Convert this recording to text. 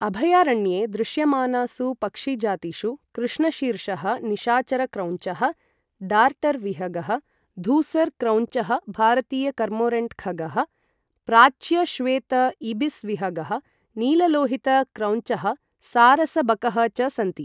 अभयारण्ये दृश्यमानासु पक्षिजातिषु कृष्णशीर्षः निशाचर क्रौञ्चः, डार्टर् विहगः, धूसर क्रौञ्चः भारतीय कर्मोरन्ट् खगः, प्राच्य श्वेत इबिस् विहगः, नीललोहित क्रौञ्चः, सारस बकः च सन्ति।